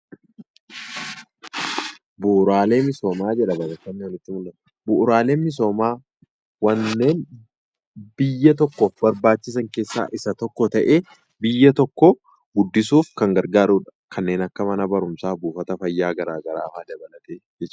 Bu'uuraaleen misoomaa wanneen biyya tokkoof barbaachisan keessaa isa tokko ta'ee, biyya tokko guddisuuf kan gargaarudha. Akka fakkeenyaatti mana barumsaa, buufata fayyaa kaasuu dandeenya.